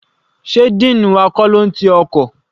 Sé dean wa kọ́ ló n ti ọkọ̀?